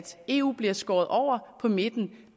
eu bliver skåret over på midten